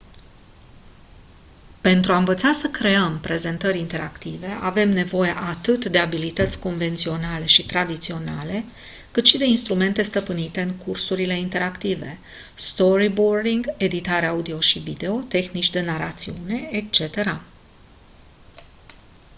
pentru a învăța să creăm prezentări interactive avem nevoie atât de abilități convenționale și tradiționale cât și de instrumente stăpânite în cursurile interactive storyboarding editare audio și video tehnici de narațiune etc.